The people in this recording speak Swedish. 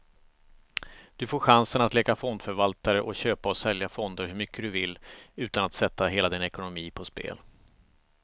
Du får chansen att leka fondförvaltare och köpa och sälja fonder hur mycket du vill, utan att sätta hela din ekonomi på spel.